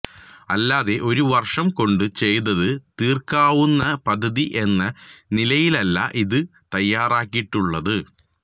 അല്ലാതെ ഒരു വര്ഷം കൊണ്ട് ചെയ്ത് തീര്ക്കാവുന്ന പദ്ധതി എന്ന നിലയിലല്ല ഇത് തയ്യാറാക്കിയിട്ടുള്ളത്